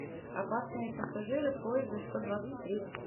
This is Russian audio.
опасные пассажиры поезда сто двадцать три